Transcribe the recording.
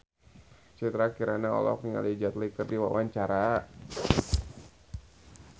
Citra Kirana olohok ningali Jet Li keur diwawancara